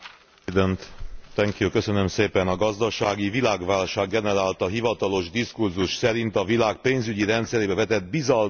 A gazdasági világválság generálta hivatalos diskurzus szerint a világ pénzügyi rendszerébe vetett bizalmat kell sürgősen újjáépíteni.